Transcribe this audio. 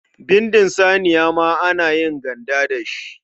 Bindin saniya ma ana yin ganda da shi.